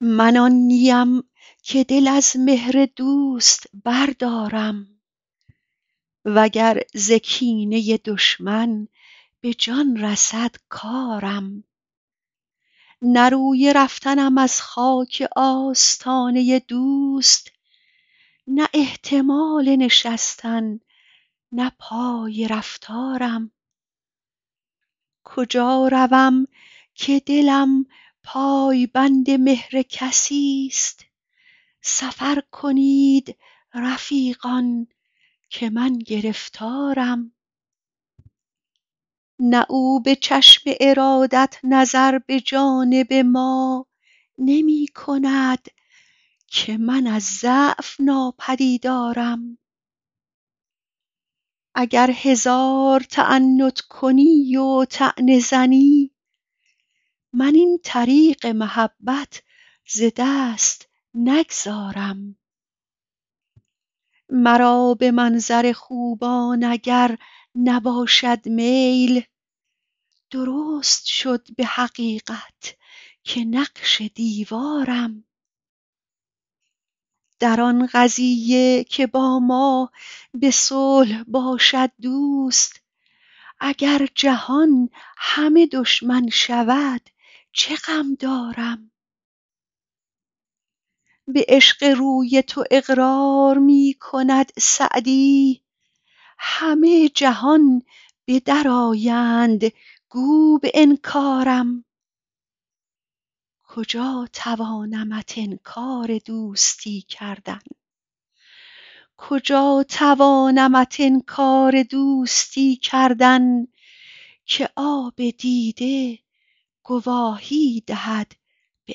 من آن نی ام که دل از مهر دوست بردارم و گر ز کینه دشمن به جان رسد کارم نه روی رفتنم از خاک آستانه دوست نه احتمال نشستن نه پای رفتارم کجا روم که دلم پای بند مهر کسی ست سفر کنید رفیقان که من گرفتارم نه او به چشم ارادت نظر به جانب ما نمی کند که من از ضعف ناپدیدارم اگر هزار تعنت کنی و طعنه زنی من این طریق محبت ز دست نگذارم مرا به منظر خوبان اگر نباشد میل درست شد به حقیقت که نقش دیوارم در آن قضیه که با ما به صلح باشد دوست اگر جهان همه دشمن شود چه غم دارم به عشق روی تو اقرار می کند سعدی همه جهان به در آیند گو به انکارم کجا توانمت انکار دوستی کردن که آب دیده گواهی دهد به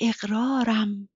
اقرارم